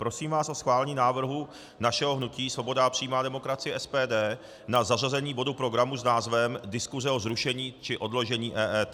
Prosím vás o schválení návrhu našeho hnutí Svoboda a přímá demokracie, SPD, na zařazení bodu programu s názvem Diskuse o zrušení či odložení EET.